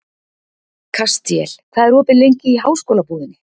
Kastíel, hvað er opið lengi í Háskólabúðinni?